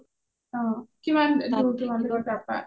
অ কিমান দুৰ তোমালোৰ তাৰ পা?